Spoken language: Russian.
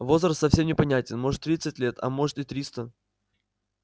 возраст совсем непонятен может тридцать лет а может и триста